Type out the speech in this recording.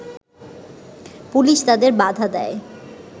police তাদের বাধা দেয়